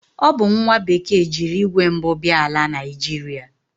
O bu nwa bekee jiri igwe mbu bia ala Naịjịrịa.